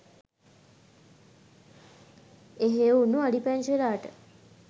එහේ උන්නු අලි පැංචලාට